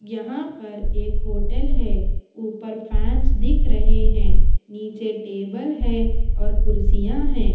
यहां पर एक होटल है ऊपर फैंस दिख रहे हैं नीचे टेबल है और कुर्सियां हैं।